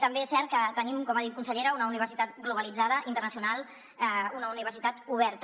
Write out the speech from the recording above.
també és cert que tenim com ha dit consellera una universitat globalitzada internacional una universitat oberta